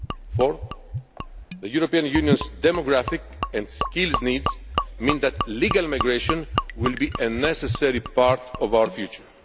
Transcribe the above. Fourthly, the European Union's demographic and skill needs mean that legal migration will be a necessary part of our future.